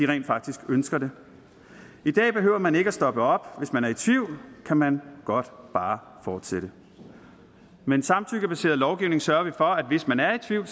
rent faktisk ønsker det i dag behøver man ikke at stoppe op hvis man er i tvivl kan man godt bare fortsætte med en samtykkebaseret lovgivning sørger vi for at hvis man er i tvivl